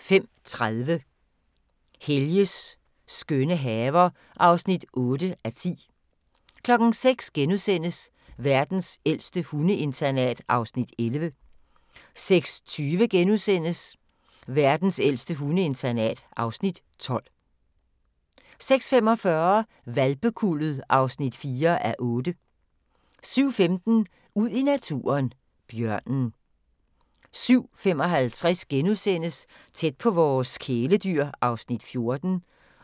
05:30: Helges skønne haver (8:10) 06:00: Verdens ældste hundeinternat (Afs. 11)* 06:20: Verdens ældste hundeinternat (Afs. 12)* 06:45: Hvalpekuldet (4:8) 07:15: Ud i naturen: Bjørnen 07:55: Tæt på vores kæledyr (14:28)*